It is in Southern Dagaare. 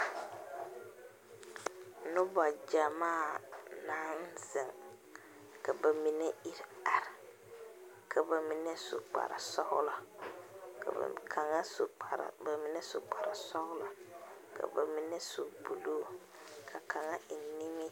Noba gyamaa naŋ zeŋ, ka bamine iri are, ka bamine su kpare sɔglɔ, ka bamine su 'blue' ka kaŋa eŋ nimiri....